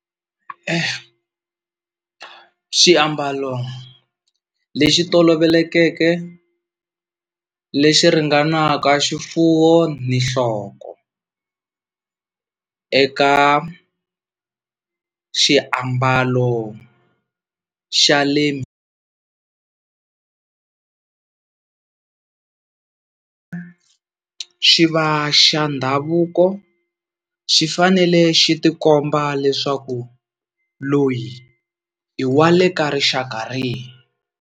Xiambalo lexi tolovelekeke lexi ringanaka xifuwo ni nhloko eka xiambalo xa le, xi va xa ndhavuko xi fanele xi tikomba leswaku loyi i wa le ka rixaka rihi.